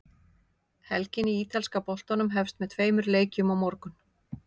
Helgin í ítalska boltanum hefst með tveimur leikjum á morgun.